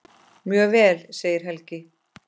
Mjög vel segir Helgi.